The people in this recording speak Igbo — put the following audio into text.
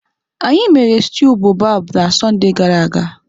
Anyị mere stew boababab na Sọnde gara aga.